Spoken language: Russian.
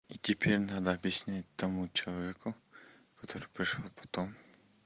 теперь надо объяснить тому человеку который пришёл потом